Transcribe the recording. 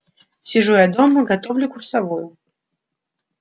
сижу я дома готовлю курсовую